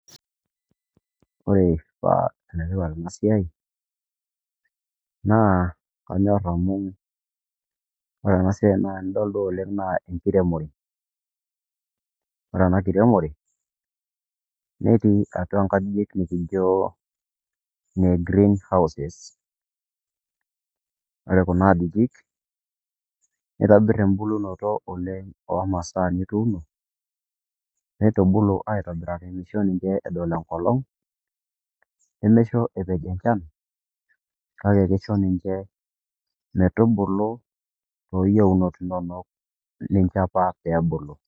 Ore paa enetipat ena siai naa kanyor amu ore ena siaai tenidol duo oleng naa enkiremore ore ena kiremore netii atua inkajijik nikijio ine Green houses ore kuna ajijik neitobir embulunoto oleng omasaa nituuno neitubulu aitobiraki meisho ninche edol enkolong nemeisho epej enchan kake keisho ninche metubulu tooyieunot inonok nijio apa peebulu.